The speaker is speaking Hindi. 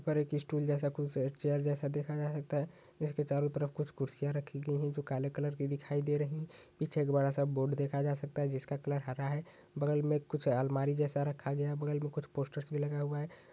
पर एक स्टूल जैसा कुछ चेयर जैसा देखा जा सकता है जिसके चारो तरफ कुछ कुर्सियां रखी गई है जो काले कलर की दिखाई दे रही है पीछे एक बड़ा सा बोर्ड देखा जा सकता है जिसका कलर हरा है बगल में कुछ आलमारी जैसा रखा गया है बगल में कुछ पोस्टर्स भी लगा हुआ हैं।